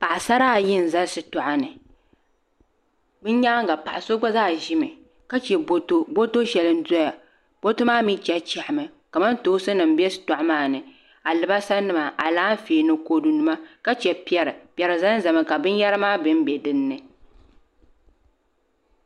Paɣasara ayi n ʒɛ shitoɣu ni bi nyaanga paɣa so gba zaa ʒimi ka chɛ boto boto shɛli n doya boto maa mii chahachahami kamantoosi nim bɛ shitoɣu maa ni alibarisa nima Alaafee ni kodu nima ka chɛ piɛri piɛri ʒɛnʒɛmi ka binyɛra maa bɛnbɛ dinni